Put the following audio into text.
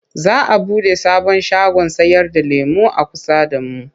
Za a buɗe sabon shagon sayarda lemo a kusa da mu.